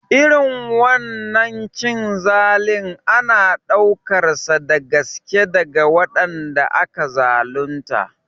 Irin wannan cin zalin ana ɗaukarsa da gaske daga waɗanda aka zalunta